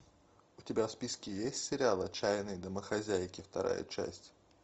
у тебя в списке есть сериал отчаянные домохозяйки вторая часть